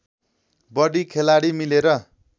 बढी खेलाडी मिलेर